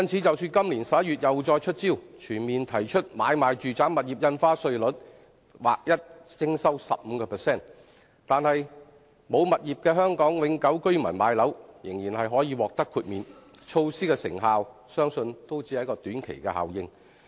即使今年11月政府又再出招，全面提高買賣住宅物業印花稅率至劃一 15%， 而沒有物業的香港永久居民買樓仍然可獲豁免，但措施的成效相信亦只是短期效應。